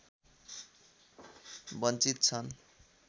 वञ्चित छन्